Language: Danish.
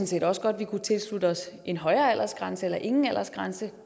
set også godt vi kunne tilslutte os en højere aldersgrænse eller ingen aldersgrænse